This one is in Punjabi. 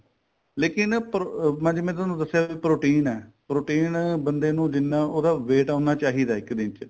ਲੇਕਿਨ ਮੈਂ ਤੁਹਾਨੂੰ ਦੱਸਿਆ protein ਏ protein ਬੰਦੇ ਨੂੰ ਜਿੰਨਾ ਉਹਦਾ weight ਏ ਉਹਨਾ ਚਾਹੀਦਾ ਇੱਕ ਦਿਨ ਚ